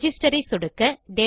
register ஐ சொடுக்க